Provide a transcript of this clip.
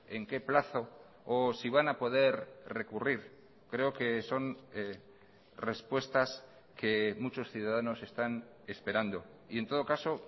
en qué plazo o si van a poder recurrir creo que son respuestas que muchos ciudadanos están esperando y en todo caso